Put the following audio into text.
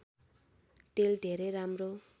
तेल धेरै राम्रो